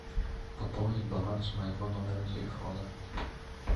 пополнить баланс моего номера телефона